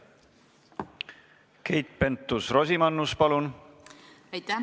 Keit Pentus-Rosimannus, palun!